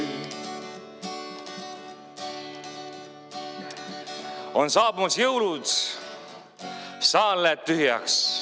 On saabumas jõulud, saal läheb tühjaks.